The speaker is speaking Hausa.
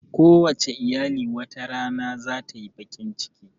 Kowace iyali wata rana zata yi baƙin ciki